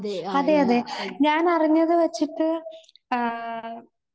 അതെഅതെ. ഞാൻ അറിഞ്ഞത് വെച്ചിട്ട് ആഹ്